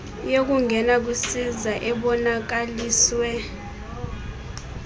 yokungena kwisiza ebonakaliswe